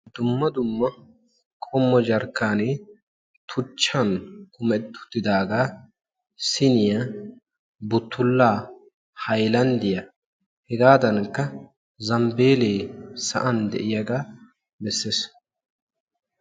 Dumma dumma qommo jarkkanee tuchchan metettooga, siniya, buttula, haylanddiya hegaddankka zambbeela sa'iyaaga bessees.